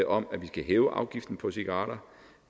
om at vi skal hæve afgiften på cigaretter